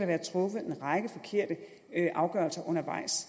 være truffet en række forkerte afgørelser undervejs